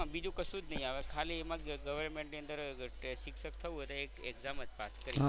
બીજું કશું જ નહીં આવે ખાલી એમાં government ની અંદર શિક્ષક થવું અને એક exam જ પાસ કરો